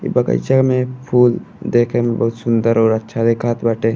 ई बगइचा में एक फूल देखे में बहुत सुन्दर और अच्छा देखात बाटे।